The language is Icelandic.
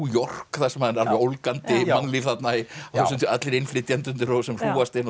York þar sem er alveg ólgandi mannlíf allir innflytjendurnir sem hrúgast inn og